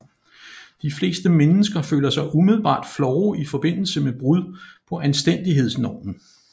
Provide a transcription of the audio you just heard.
De fleste mennesker føler sig umiddelbart flove i forbindelse med brud på anstændighedsnormen